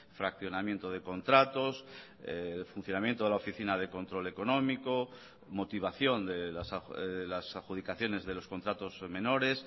fraccionamiento de contratos funcionamiento de la oficina de control económico motivación de las adjudicaciones de los contratos menores